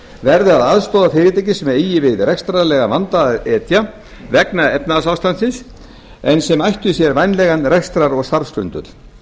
verði að aðstoða fyrirtæki sem eigi við rekstrarlegan vanda að etja vegna efnahagsástandsins en ættu sér vænlegan rekstrar eða starfsgrundvöll